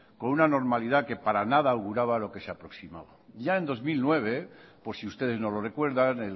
con una normalidad que para nada auguraba lo que se aproximaba ya en dos mil nueve por si ustedes no lo recuerdan